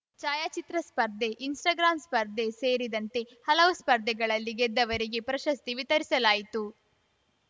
ಛಾಯಾಚಿತ್ರ ಸ್ಪರ್ಧೆ ಇನ್‌ಸ್ಟಾಗ್ರಾಂ ಸ್ಪರ್ಧೆ ಸೇರಿದಂತೆ ಹಲವು ಸ್ಪರ್ಧೆಗಳಲ್ಲಿ ಗೆದ್ದವರಿಗೆ ಪ್ರಶಸ್ತಿ ವಿತರಿಸಲಾಯಿತು